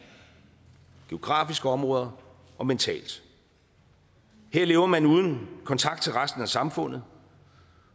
geografiske områder og mentalt her lever man uden kontakt til resten af samfundet